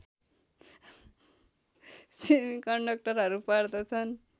सेमिकन्डक्टरहरू पर्दछन्